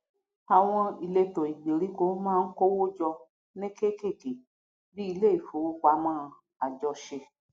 àwọn ìletò ìgbèríko má ń kówójọ ní kékèké bíi ilé ìfowópamọ àjọṣe